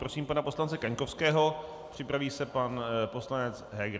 Prosím pana poslance Kaňkovského, připraví se pan poslanec Heger.